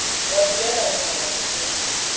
wa dulela ho rabaka tje